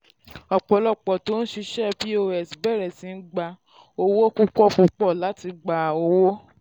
ọ̀pọ̀lọpọ̀ tó ń ṣiṣẹ́ pos bẹ̀rẹ̀ sí gba owó púpọ̀ púpọ̀ láti gba owó.